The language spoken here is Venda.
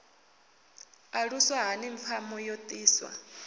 aluswa hani pfma yo ḓisa